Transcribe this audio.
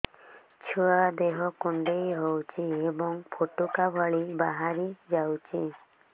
ଛୁଆ ଦେହ କୁଣ୍ଡେଇ ହଉଛି ଏବଂ ଫୁଟୁକା ଭଳି ବାହାରିଯାଉଛି